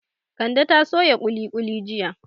Kande ta soya kuli kuli jiya